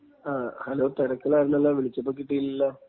hello ,തിരക്കിലായിരുന്നല്ലോ, വിളിച്ചപ്പോ കിട്ടീലല്ലോ...